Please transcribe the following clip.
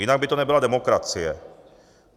Jinak by to nebyla demokracie.